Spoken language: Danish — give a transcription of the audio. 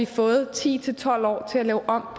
fået ti til tolv år til at lave om